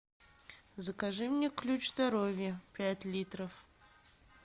закажи мне ключ здоровья пять литров